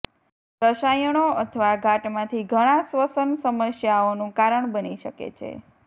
રસાયણો અથવા ઘાટમાંથી ઘણા શ્વસન સમસ્યાઓનું કારણ બની શકે છે